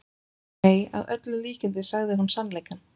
Nei, að öllum líkindum sagði hún sannleikann.